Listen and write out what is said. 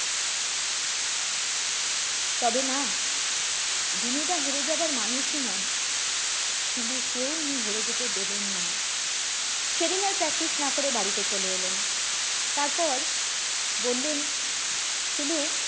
তবে না দিনু দা হেরে যাওয়ার মানুষ এই নন শিলুকেও উনি হেরে যেতে দেবেন না সেদিন আর practice না করে বাড়িতে চলে এলেন তারপর বললেন শিলু